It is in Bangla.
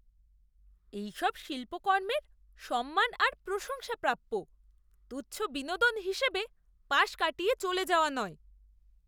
এইসব শিল্পকর্মের সম্মান আর প্রশংসা প্রাপ্য, তুচ্ছ বিনোদন হিসেবে পাশ কাটিয়ে চলে যাওয়া নয়।